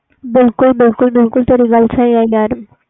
ਬਿਲਕੁਲ ਬਿਲਕੁਲ